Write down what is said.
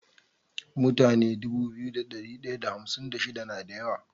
Mutane Dubu biyu da dari daya da hamsin da shida nada yawa